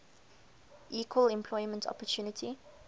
equal employment opportunity